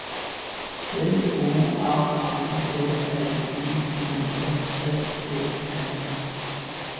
C O R N E L I U S S E N